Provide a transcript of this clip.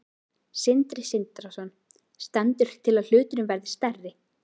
Sindri Sindrason: Stendur til að hluturinn verði stærri?